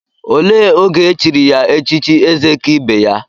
Olee oge echiri ya echichi Ezekaibeya?